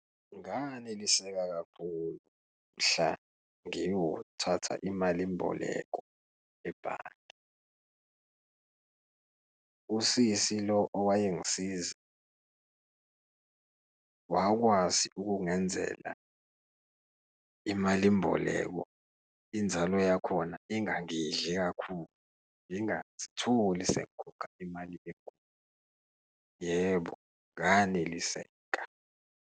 Nganeliseka kakhulu mhla ngiyothatha imalimboleko ebhange. Usisi lo owayengisiza wakwazi ukungenzela imalimboleko inzalo yakhona ingangidli kakhulu ngangazitholi sekungikhokha imali enkulu. Yebo, nganeliseka.